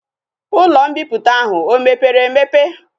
Ulo mbiputa ahu o mepere emepe?